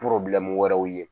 Porobilɛmu wɛrɛw ye.